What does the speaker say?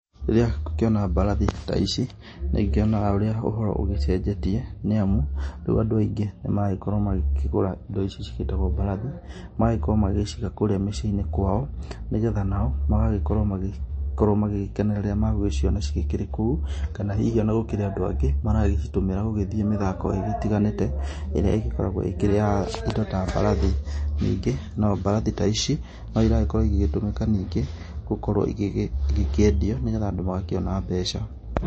Rĩrĩa ngũkĩona mbarathi ta ici, nĩ ngĩonaga ũrĩa ũhoro ũgĩcenjetie nĩ amu, rĩu andũ aingĩ nĩ maragĩkorwo magĩkĩgũra indo ici cigĩtagwo mbarathi, magagĩkorwo magĩciga kũũrĩa mĩciĩ-inĩ kwao nĩ getha nao magagĩkorwo magĩgĩkena rĩrĩa magũgĩciona cigĩkĩrĩ kũu, kana hihi ona gũkĩrĩ andũ angĩ maragĩcitũmĩra gũgĩthiĩ mĩthako ĩgĩtiganĩte, ĩrĩa ĩgĩkoragwo ĩkĩrĩ ya indo ta mbarathi. Ningĩ, no mbarathi ta ici no iragĩkorwo igĩgĩtũmĩka ningĩ gũkorwo igĩkĩendio nĩ getha andũ magĩkĩona mbeca.